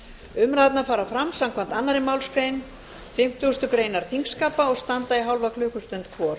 umræðurnar fara fram samkvæmt annarri málsgrein fimmtugustu grein þingskapa og standa í hálfa klukkustund hvor